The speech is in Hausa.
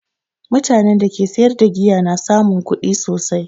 Mutanen da ke sayar da giya na samun kuɗi sosai